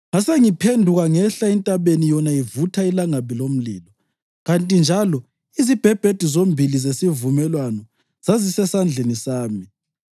Ngasengiphenduka ngehla entabeni yona ivutha ilangabi lomlilo. Kanti njalo izibhebhedu zombili zesivumelwano zazisezandleni zami.